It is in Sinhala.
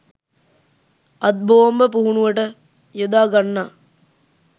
අත් බෝම්බ පුහුණුවට යොදාගන්නා